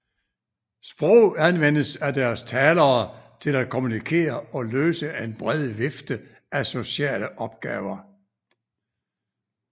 Sprog anvendes af deres talere til at kommunikere og løse en bred vifte af sociale opgaver